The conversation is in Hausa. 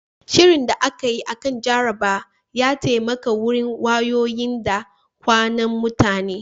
Shirin da aka yi akan jaraba ya taimaka wurin wayoyin da kwunan mutane